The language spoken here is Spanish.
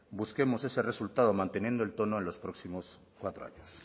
busquemos ese resultado manteniendo el tono en los próximos cuatro años